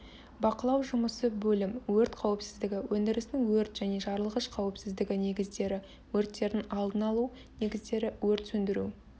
бақылау жұмысы бөлім өрт қауіпсіздігі өндірістің өрт және жарылғыш қауіпсіздігі негіздері өрттердің алдын алу негіздері өрт сөндіру